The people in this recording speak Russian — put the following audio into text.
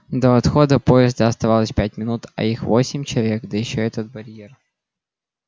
до отхода поезда оставалось пять минут а их восемь человек да ещё этот барьер